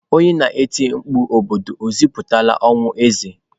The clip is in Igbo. Onye na-eti mkpu n'obodo ekwupụtala ọnwụ eze?